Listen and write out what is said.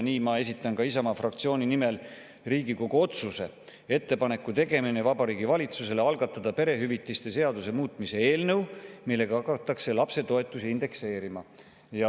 Nii ma esitangi Isamaa fraktsiooni nimel Riigikogu otsuse "Ettepaneku tegemine Vabariigi Valitsusele algatada perehüvitiste seaduse muutmise eelnõu, millega hakatakse lapsetoetust indekseerima".